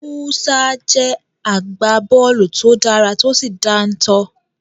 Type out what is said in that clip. Musa jẹ́ agbábọ́ọ̀lù to dára tó sì dáńtọ́.